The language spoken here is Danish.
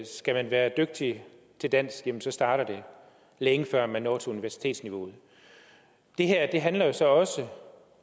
skal man være dygtig til dansk starter det længe før man når til universitetsniveauet det her handler jo så også